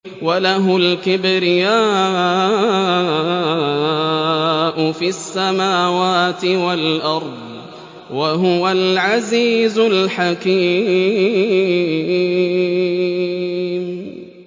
وَلَهُ الْكِبْرِيَاءُ فِي السَّمَاوَاتِ وَالْأَرْضِ ۖ وَهُوَ الْعَزِيزُ الْحَكِيمُ